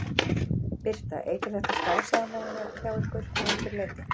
Birta: Eykur þetta starfsánægjuna hjá ykkur að einhverju leyti?